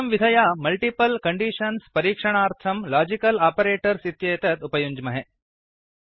एवं विधया multiple conditions परीक्षणार्थं लाजिकल् आपरेटर्स् इत्येतत् उपयुञ्ज्महे